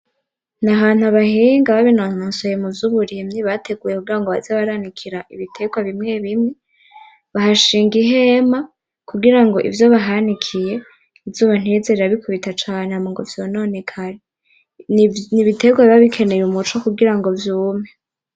Nahantu abahinga babinonosoye muvyuburimyi bateguye kugira baze baranikira ibiterwa bimwe bimwe bahashinga ihema kugirango ivyo bahanikiye izuba ntirize rirabikubita cane hama ngo vyononekare n'ibiterwa biba bikeneye umuco kugirango vyume.